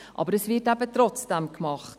Trotzdem wird es aber gemacht.